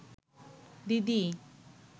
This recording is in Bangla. দিদি